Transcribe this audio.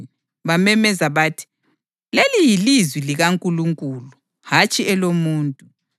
Bamemeza bathi, “Leli yilizwi likaNkulunkulu, hatshi elomuntu.”